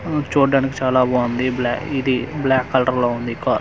ఊ చుడ్డానికి చాలా బాంది బ్లా ఇది బ్లాక్ కలర్లో ఉంది కా--